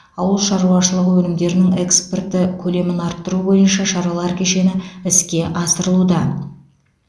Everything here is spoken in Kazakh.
ауыл шаруашылығы өнімдерінің экспорты көлемін арттыру бойынша шаралар кешені іске асырылуда